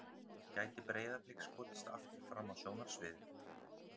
Gæti Breiðablik skotist aftur fram á sjónarsviðið?